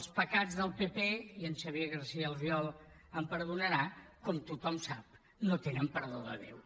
els pecats del pp i en xavier garcía albiol em perdonarà com tothom sap no tenen perdó de déu